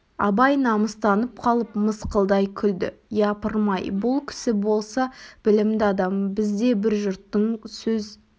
абай намыстанып қалып мысқылдай күлді япырм-ай бұл кісі болса білімді адам біз де бір жұрттың сөз